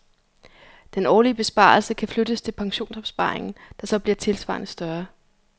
Den årlige besparelse kan flyttes til pensionsopsparingen, der så bliver tilsvarende større.